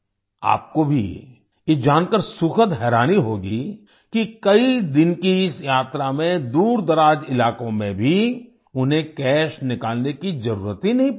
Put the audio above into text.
आपको भी ये जानकर सुखद हैरानी होगी कि कई दिन की इस यात्रा में दूरदराज इलाकों में भी उन्हें कैश निकालने की ज़रूरत ही नहीं पड़ी